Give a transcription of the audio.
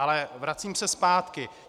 Ale vracím se zpátky.